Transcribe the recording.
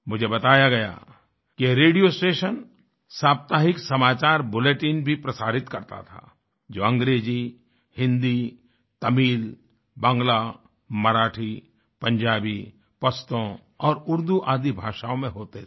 मुझे बताया गया कि ये रेडियो स्टेशन साप्ताहिक समाचार बुलेटिन भी प्रसारित करता था जो अंग्रेज़ी हिंदी तमिल बांग्ला मराठी पंजाबी पश्तो और उर्दू आदि भाषाओं में होते थे